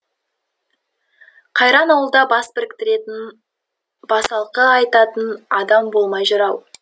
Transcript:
қайран ауылда бас біріктіретін басалқы айтатын адам болмай жүр ау